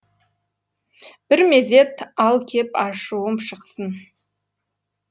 бір мезет ал кеп ашуым шықсын